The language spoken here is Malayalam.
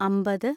അമ്പത്